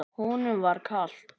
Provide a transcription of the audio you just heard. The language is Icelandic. Honum var kalt.